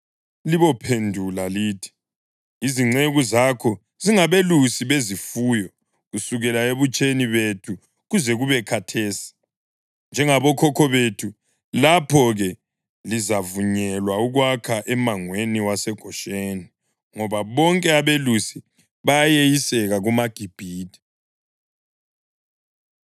libophendula lithi, ‘Izinceku zakho zingabelusi bezifuyo kusukela ebutsheni bethu kuze kube khathesi, njengabokhokho bethu.’ Lapho-ke lizavunyelwa ukwakha emangweni waseGosheni, ngoba bonke abelusi bayeyiseka kumaGibhithe.”